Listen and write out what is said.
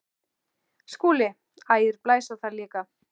SKÚLI: Ægir blæs á það líka.